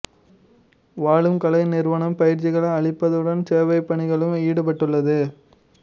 வாழும் கலை நிறுவனம் பயிற்சிகள் அளிப்பதுடன் சேவைப் பணிகளிலும் ஈடுபட்டுள்ளது